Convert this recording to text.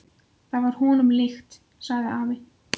Það var honum líkt, sagði afi.